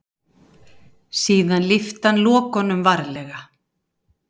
Síðan lyfti hann lokunum varlega.